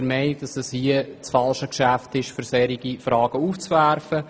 Wir sind der Meinung, dies sei das falsche Geschäft, um solche Fragen aufzuwerfen.